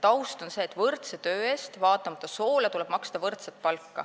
Taust on see, et võrdse töö eest tuleb vaatamata soole maksta võrdset palka.